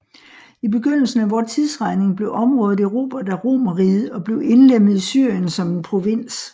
I begyndelsen af vor tidsregning blev området erobret af Romerriget og blev indlemmet i Syrien som en provins